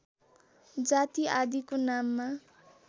जाति आदिको नाममा